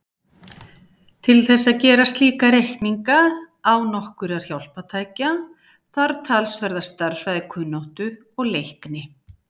Til þess að gera slíka reikninga án nokkurra hjálpartækja þarf talsverða stærðfræðikunnáttu og-leikni.